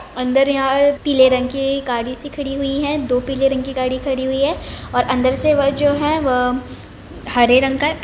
अंदर यहां पीले रंग की गाड़ी सी खड़ी हुई हैं दो पीले रंग की गाड़ी हुई है अंदर से जो वो है हरे रंग का है।